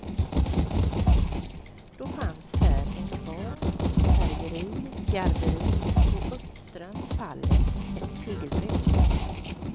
Då fanns här en kvarn, färgeri, garveri och uppströms fallet ett tegelbruk.